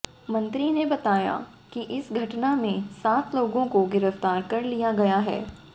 मंत्री ने बताया कि इस घटना में सात लोगों को गिरफ्तार कर लिया गया है